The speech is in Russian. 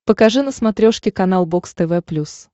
покажи на смотрешке канал бокс тв плюс